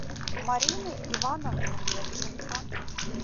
марины ивановны левченко